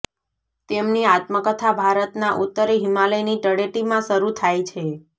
તેમની આત્મકથા ભારતના ઉત્તરે હિમાલયની તળેટીમાં શરૂ થાય છે